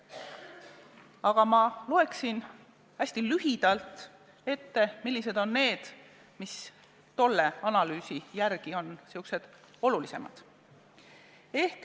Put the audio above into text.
Aga ma loeksin hästi lühidalt ette, millised on tolle analüüsi järgi neist olulisemad.